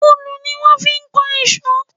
Òòlù ni wón fi kan ìṣọ́.